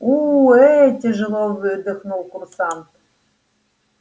уу ээ тяжело выдохнул курсант